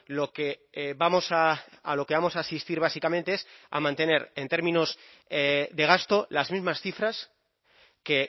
lo que vamos a a lo que vamos a asistir básicamente es a mantener en términos de gasto las mismas cifras que